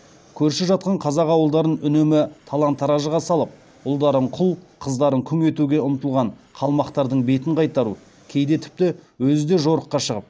көрші жатқан қазақ ауылдарын үнемі талан таражға салып ұлдарын құл қыздарын күң етуге ұмтылған қалмақтардың бетін қайтаруы кейде тіпті өзі де жорыққа шығып шекарадан алысқа қуып тастауы түсінікті жағдай